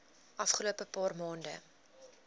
afgelope paar maande